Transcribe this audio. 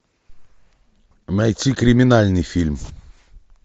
найти криминальный фильм